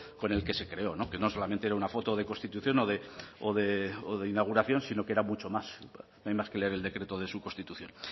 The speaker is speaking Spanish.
con el que se creó que no solamente era una foto de constitución o de inauguración sino que era mucho más no hay más que leer el decreto de su constitución